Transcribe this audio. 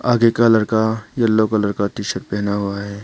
आगे का लड़का येलो कलर का टी शर्ट पहना हुआ है।